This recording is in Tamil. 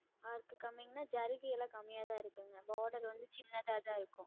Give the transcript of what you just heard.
Work கம்மின்னா, ஜரிகைல்லாம் கம்மியாதான் இருக்குங்க. Border வந்து சின்னததான் இருக்கும்.